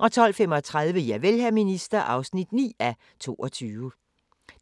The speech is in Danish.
12:35: Javel, hr. minister (9:22)